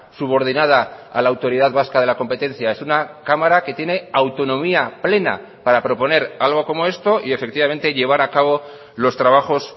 subordinada a la autoridad vasca de la competencia es una cámara que tiene autonomía plena para proponer algo como esto y efectivamente llevar a cabo los trabajos